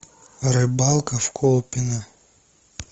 рыбалка в колпино